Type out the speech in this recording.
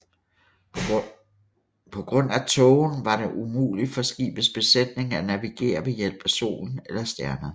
På grund af tågen var det umulig for skibets besætning at navigere ved hjælp af solen eller stjernerne